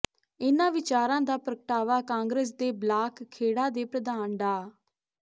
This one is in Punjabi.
ਇਨ੍ਹਾਂ ਵਿਚਾਰਾਂ ਦਾ ਪ੍ਰਗਟਾਵਾ ਕਾਂਗਰਸ ਦੇ ਬਲਾਕ ਖੇੜਾ ਦੇ ਪ੍ਰਧਾਨ ਡਾ